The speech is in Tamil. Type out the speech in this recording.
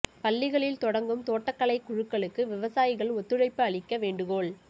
பள்ளிகளில் தொடங்கும் தோட்டக் கலை குழுக்களுக்கு விவசாயிகள் ஒத்துழைப்பு அளிக்க வேண்டுகோள்